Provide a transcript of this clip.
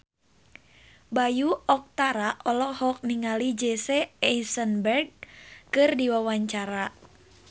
Bayu Octara olohok ningali Jesse Eisenberg keur diwawancara